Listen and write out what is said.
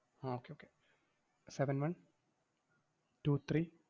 ah okay okay seven one two three